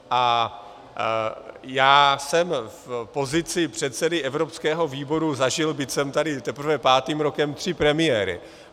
A já jsem v pozici předsedy evropského výboru zažil, byť jsem tady teprve pátým rokem, tři premiéry.